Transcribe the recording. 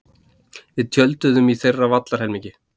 Við tjölduðum í þeirra vallarhelmingi.